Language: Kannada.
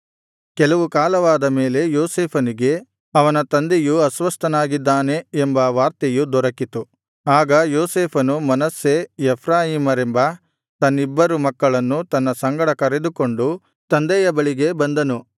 ಕೆಲವು ಕಾಲವಾದ ಮೇಲೆ ಯೋಸೇಫನಿಗೆ ಅವನ ತಂದೆಯು ಅಸ್ವಸ್ಥನಾಗಿದ್ದಾನೆ ಎಂಬ ವಾರ್ತೆಯು ದೊರಕಿತು ಆಗ ಯೋಸೇಫನು ಮನಸ್ಸೆ ಎಫ್ರಾಯೀಮರೆಂಬ ತನ್ನಿಬ್ಬರು ಮಕ್ಕಳನ್ನು ತನ್ನ ಸಂಗಡ ಕರೆದುಕೊಂಡು ತಂದೆಯ ಬಳಿಗೆ ಬಂದನು